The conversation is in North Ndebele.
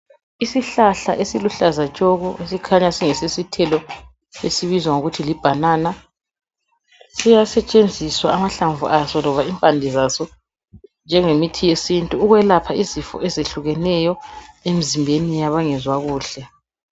Isihlahla esiluhlaza tshoko esikhanya singesesithelo esibizwa ngokuthi li"banana".Siyasetshenziswa amahlamvu aso loba impande zaso njengemithi yesintu ukwelapha izifo ezehlukeneyo emzimbeni yabangezwa kuhle.